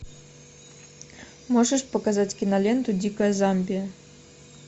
можешь показать киноленту дикая замбия